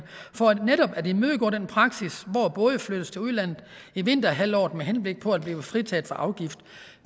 for netop at imødegå den praksis hvor både flyttes til udlandet i vinterhalvåret med henblik på at blive fritaget for afgift